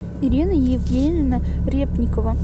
ирина евгеньевна репникова